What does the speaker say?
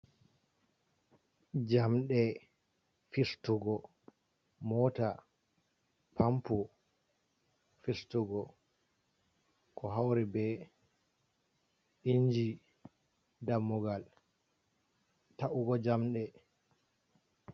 Jamɗe fistugo moota, pampo fistugo, ɗo hawri be inji dammugal ta’ugo jamɗe.